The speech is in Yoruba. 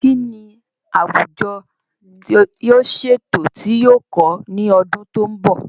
Kín ni àwùjọ yóò ṣe ètò tí yóò kọ́ ní ọdún tí ó ń bọ̀?.